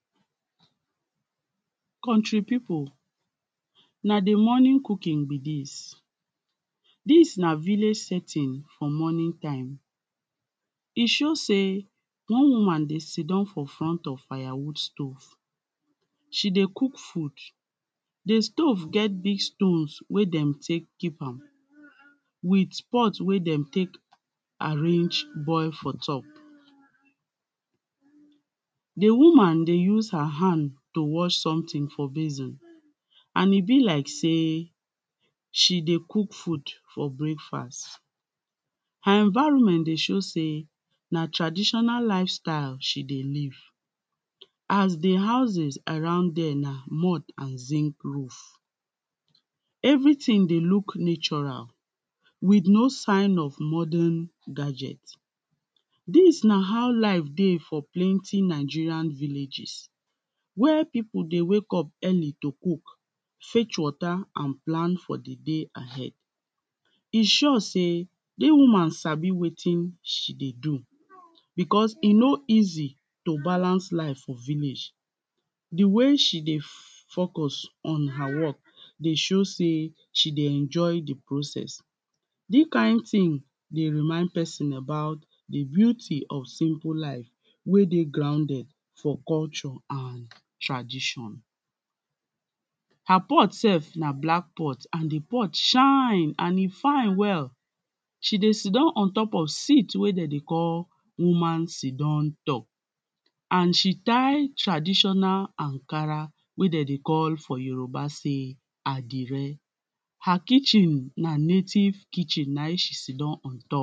Country people, na di morning cooking be dis, dis na village setting for morning time, e show sey, one woman dey sit down for front of fire wood stove, she dey cook food. di stove get big stones wen dem take keep am with pot wey dem take arrange boil for top, di woman dey use something dey use her hand to wash something for basin, and e be like sey she dey cook food for breakfast. her environment dey show sey, na traditional life style she dey live, as di houses around there na mod with zinc roof. everything dey look natural, with no sign of modern gadget. dis na how life dey for plenty Nigerian villages, wey people dey wake up early to cook, fetch water and plan for di day ahead, e sure sey, if woman sabi wetin she dey do, because e no easy to balance life for village, di way she dey focus on her work, dey show sey she dey enjoy di process. dis kind thing dey remind person about di beauty of simple life, wey dey grounded for culture and tradition. her pot sef na black pot, and di pot shine and e fine well. she dey sit down un top of seat wey dem dey call, woman sit down door and she tire traditional Ankara, wey dem dey call for Yoruba sey, andere. her kitchen na native kitchen na im she sit down on top.